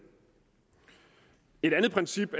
et andet princip